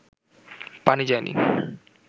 পানি যায়নি